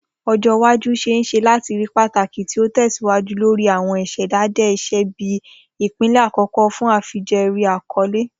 ojo iwaju ṣee ṣe lati rii pataki ti o tẹsiwaju lori awọn iṣedede iṣe bi ipilẹ akọkọ fun afijẹẹri akọle.